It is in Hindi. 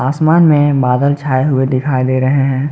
आसमान में बादल छाए हुए दिखाई दे रहे हैं।